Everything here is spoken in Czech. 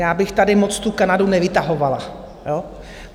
Já bych tady moc tu Kanadu nevytahovala.